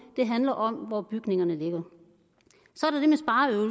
det handler om hvor bygningerne ligger